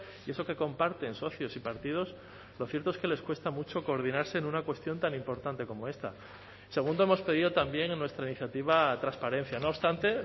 y eso que comparten socios y partidos lo cierto es que les cuesta mucho coordinarse en una cuestión tan importante como esta segundo hemos pedido también en nuestra iniciativa transparencia no obstante